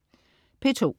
P2: